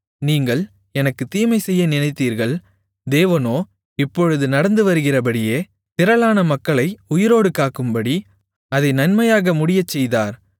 நீங்கள் எனக்குத் தீமைசெய்ய நினைத்தீர்கள் தேவனோ இப்பொழுது நடந்துவருகிறபடியே திரளான மக்களை உயிரோடு காக்கும்படி அதை நன்மையாக முடியச்செய்தார்